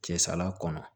Cɛ sala kɔnɔ